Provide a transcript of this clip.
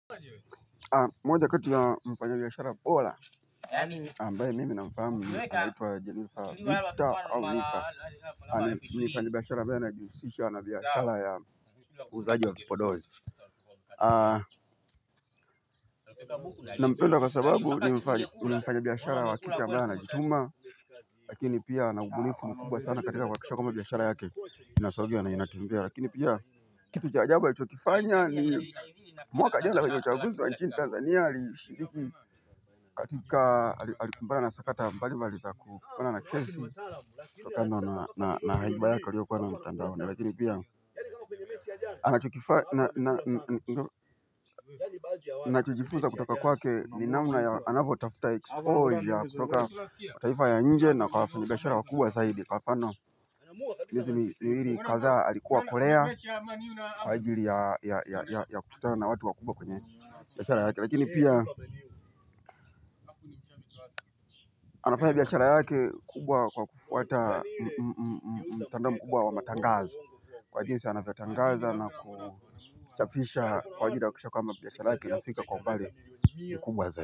Moja kati ya mfanya biashara pola. Ambaye mimi na mfahamu anaitwa Jenifa Victa au Lifa. Ani nimfanyi biashara ambaye anajihusisha na biashara ya uuzaji wa vipodozi. Na mpenda kwa sababu ni mfanyi biashara wa kike ambaye ana jituma. Lakini pia ana ubunifu mkuba sana katika kuhakikisha kwamba biashara yake. Inasogea na inatembea lakini pia kitu cha ajabu alichokifanya ni mwaka jana kwenye uchaguzi wa nchini tanzania alishiriki katika alikumbana na sakata mbali mbali za kukona na kesi Tokendo na haibayake aliyo kuwa nayo mtandaoni lakini pia anachukifana kutoka kwake ni namna ya anavo tafuta exposure kutoka taifa ya nje na kwa wafanyibiashara wakubwa ya zaidi kwa mfano Nizi miwiri kazaa alikuwa korea. Kwa ajili ya kukutana na watu wa kubwa kwenye biashara yake. Lakini pia anafaya biashara yake kubwa kwa kufuata mtandao mkubwa wa matangazo. Kwa ajili sana avyotangaza na kuchafisha kwa ajili ya kisha kwamba biashara yake inafika kwa umbali mkubwa za.